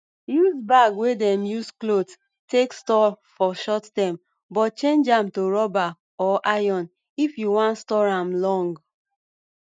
use bag wey dem use cloth take store for short time but change am to rubber or iron if you wan store am long